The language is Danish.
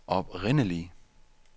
oprindelig